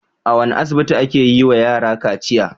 A wane asibiti ake yiwa yara kaciya?